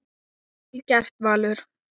Vel gert, Valur.